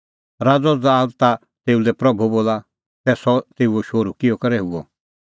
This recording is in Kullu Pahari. राज़अ दाबेद ता तेऊ लै प्रभू बोला तै सह तेऊओ शोहरू किहअ करै हुअ